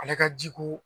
Ale ka jiko